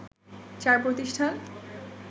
চার প্রতিষ্ঠান